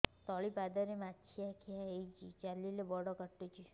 ତଳିପାଦରେ ମାଛିଆ ଖିଆ ହେଇଚି ଚାଲିଲେ ବଡ଼ କାଟୁଚି